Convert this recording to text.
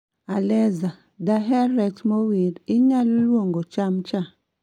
Aleza daher rech mowir inyalo luongo chamcha